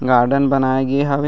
Garden बनाए गे हावे।